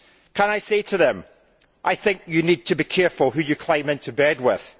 Can I say to them I think you need to be careful who you climb into bed with?